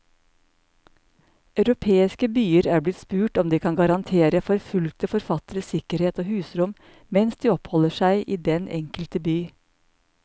Europeiske byer er blitt spurt om de kan garantere forfulgte forfattere sikkerhet og husrom mens de oppholder seg i den enkelte by.